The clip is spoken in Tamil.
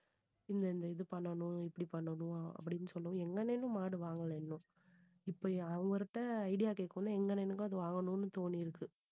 இந்த இந்த இது பண்ணணும் இப்படி பண்ணணும் அப்படின்னு சொல்லவும் எங்க அண்ணனும் மாடு வாங்கலை இன்னும் இப்படி அவர்ட்ட idea கேக்கும் போது எங்க அண்ணனுக்கும் அது வாங்கணும்னு தோணிருக்கு